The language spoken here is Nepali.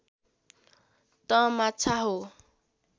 तँ माछा हो